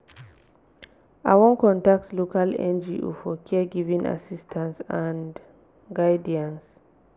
i wan contact local ngo for caregiving assistance and guidance.